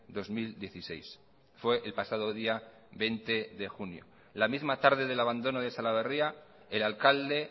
dos mil dieciséis fue el pasado día veinte de junio la misma tarde del abandono de salaberria el alcalde